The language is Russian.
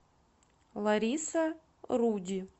лариса руди